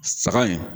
Saga in